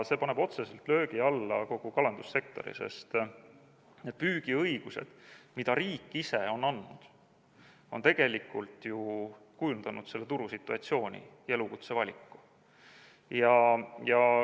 See paneb otseselt löögi alla kogu kalandussektori, sest püügiõigused, mida riik ise on andnud, on tegelikult ju kujundanud selle turusituatsiooni ja elukutsevaliku.